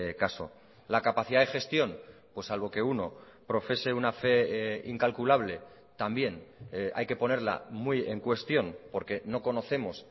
caso la capacidad de gestión pues salvo que uno profese una fe incalculable también hay que ponerla muy en cuestión porque no conocemos